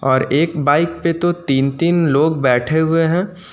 और एक बाइक पे तो तीन तीन लोग बैठे हुए हैं।